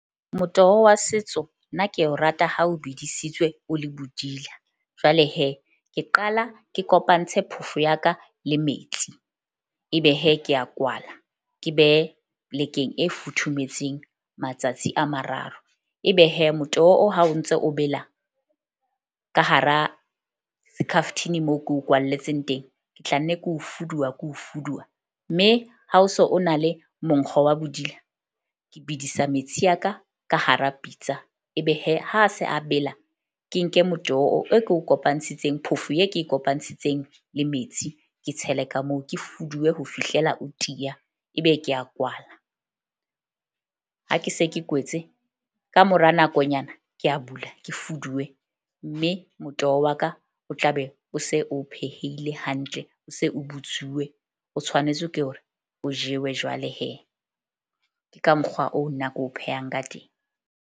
Motoho wa setso nna ke o rata ha o bidisitsweng o le bodila. Jwale ke qala ke kopantshe phofo ya ka le metsi. Ebe ke a kwala, ke behe plek-eng e futhumetseng matsatsi a mararo. Ebe motoho o ha o ntso o bela ka hara skhaftini, moo ko kwalletseng teng. Ke tla nne ko fuduwa ko fuduwa mme ha o so o na le monkgo wa bodila. Ke bedisa metsi ya ka ka hara pitsa. Ebe ha se a bela ke nke motoho eo ko kopantshitseng, phofo e ke e kopantshitseng le metsi. Ke tshele ka moo ke fuduwe ho fihlela o tiya, ebe ke a kwala, ha ke se ke kwetse kamora nakonyana ke a bula ke fuduwe. Mme motoho wa ka o tla be o se o pheheile hantle, o se o butsuwe, o tshwanetse ke hore o jewe jwale ke ka mokgwa oo nna ke o phehang ka teng.